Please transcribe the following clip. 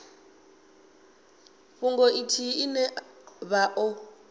fhungo ithihi ine vha o